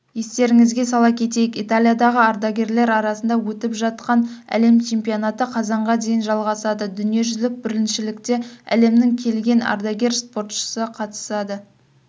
естеріңізге сала кетейік италиядағы ардагерлер арасында өтіп жатқан әлем чемпионаты қазанға дейін жалғасады дүниежүзілік біріншілікте әлемнің келген ардагер спортшы қатысады